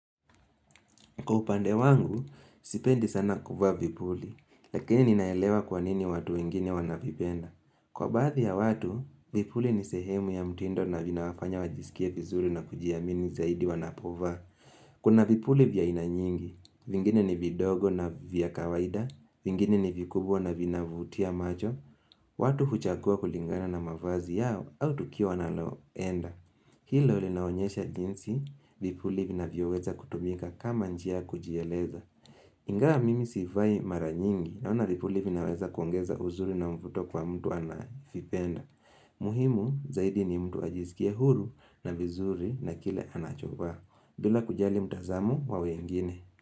Kwa upande wangu, sipendi sana kuvaa vipuli, lakini ninaelewa kwanini watu wengine wanavipenda. Kwa baadhi ya watu, vipuli ni sehemu ya mtindo na vinawafanya wajisikia vizuri na kujiamini zaidi wanapovaa. Kuna vipuli vya aina nyingi, vingine ni vidogo na vya kawaida, vingine ni vikubwa na vinavutia macho, watu huchagua kulingana na mavazi yao au tukio wanaloenda. Hilo linaonyesha jinsi, vipuli vinavyoweza kutumika kama njia kujieleza. Ingawa mimi sivai mara nyingi naona vipuli vinaweza kuongeza uzuri na mvuto kwa mtu anavipenda. Muhimu zaidi ni mtu ajizikia huru na vizuri na kile anachovaa. Bila kujali mtazamo wa wengine.